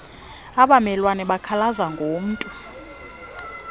abamelwane bekhalaza ngomntu